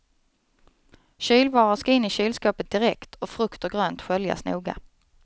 Kylvaror ska in i kylskåpet direkt och frukt och grönt sköljas noga.